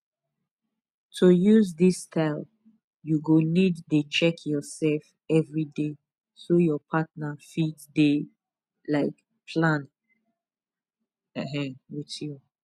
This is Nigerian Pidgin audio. to use this style you go need dey check yourself everyday so your partner fit dey um plan um with you